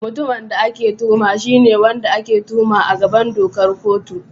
Mutumin da ake tuhuma shi ne wanda ake tuhuma a gaban dokar kotu.